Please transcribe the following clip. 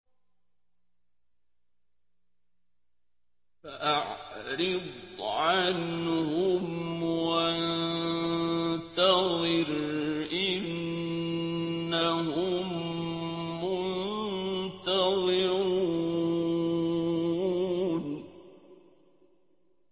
فَأَعْرِضْ عَنْهُمْ وَانتَظِرْ إِنَّهُم مُّنتَظِرُونَ